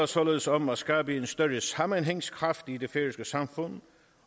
således om at skabe en større sammenhængskraft i det færøske samfund